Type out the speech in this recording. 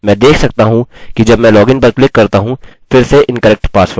मैं देख सकता हूँ कि जब मैं login पर क्लिक करता हूँ फिर से incorrect password